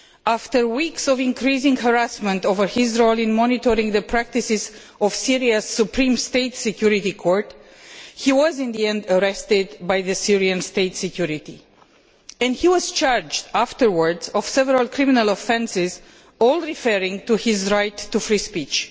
After weeks of increasing harassment over his role in monitoring the practices of Syria's Supreme State Security Court, he was in the end arrested by the Syrian state security and later charged with several criminal offences, all referring to his right to free speech.